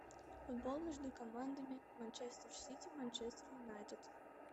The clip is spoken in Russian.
футбол между командами манчестер сити манчестер юнайтед